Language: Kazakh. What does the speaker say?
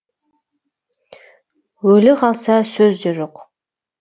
өлі қалса сөз де жоқ